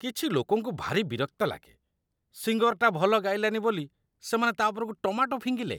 କିଛି ଲୋକଙ୍କୁ ଭାରି ବିରକ୍ତ ଲାଗେ । ସିଙ୍ଗର୍‌ଟା ଭଲ ଗାଇଲାନି ବୋଲି ସେମାନେ ତା' ଉପରକୁ ଟମାଟୋ ଫିଙ୍ଗିଲେ ।